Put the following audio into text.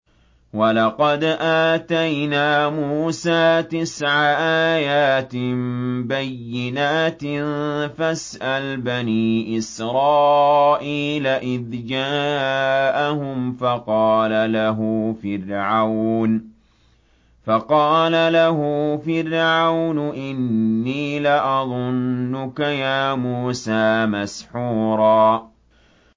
وَلَقَدْ آتَيْنَا مُوسَىٰ تِسْعَ آيَاتٍ بَيِّنَاتٍ ۖ فَاسْأَلْ بَنِي إِسْرَائِيلَ إِذْ جَاءَهُمْ فَقَالَ لَهُ فِرْعَوْنُ إِنِّي لَأَظُنُّكَ يَا مُوسَىٰ مَسْحُورًا